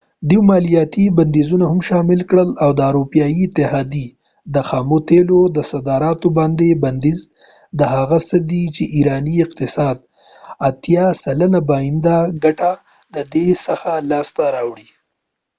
دوي مالیاتی بنديزونه هم شامل کړل او د اروپایې اتحاديی د خامو تیلو صادراتو باندي بنديز دا هغه څه دي چې ایرانی اقتصاد 80 سلنه باندينی ګټه ددې څخه لاس ته راوړی